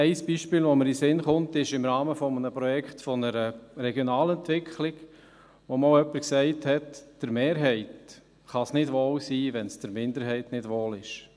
Ein Beispiel, das mir einfällt, war im Rahmen eines Projekts einer Regionalentwicklung, bei der einmal jemand sagte: «Der Mehrheit kann es nicht wohl sein, wenn es der Minderheit nicht wohl ist.